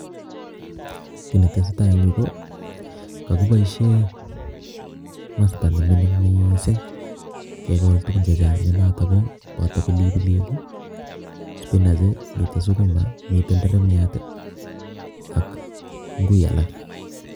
Kiy ne tesetai eng yu ko, kakiboisie masta ne mining miising kekol tugun che chang ne notok ko, boto pilipilik ii, spinach ii mitei sukuma mite nderemiat ii ak ngui alak.